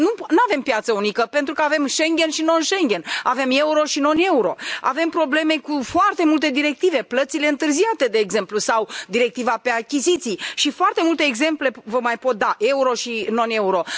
Nu avem piață unică, pentru că avem Schengen și non Schengen, avem euro și non euro, avem probleme cu foarte multe directive, plățile întârziate, de exemplu, sau directiva pe achiziții și foarte multe exemple vă mai pot da, euro și non euro.